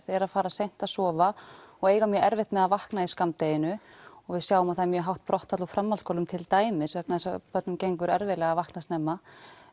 eru að fara seint að sofa og eiga mjög erfitt með að vakna í skammdeginu við sjáum að það er mjög hátt brottfall úr framhaldsskólum til dæmis vegna þess að börnum gengur erfiðlega að vakna snemma